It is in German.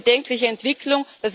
Eine bedenkliche Entwicklung.